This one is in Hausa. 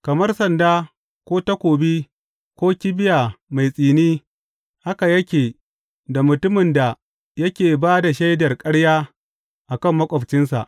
Kamar sanda ko takobi ko kibiya mai tsini haka yake da mutumin da yake ba da shaidar ƙarya a kan maƙwabcinsa.